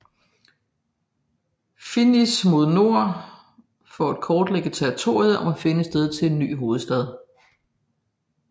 Finniss mod nord for at kortlægge territoriet og finde et sted til en ny hovedstad